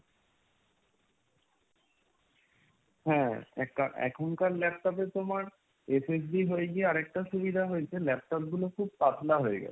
হ্যাঁ, এক~ এখন কার laptop এ তো তোমার SST হয়ে গিয়ে আর একটা সুবিধা হয়েছে , laptop গুলো খুব পাতলা হয়ে গেছে।